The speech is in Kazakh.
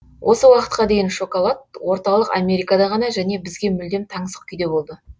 осы уақытқа дейін шоколад орталық америкада ғана және бізге мүлдем таңсық күйде болды